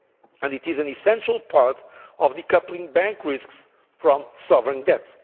area, and it is an essential part of decoupling bank risks from sovereign debt.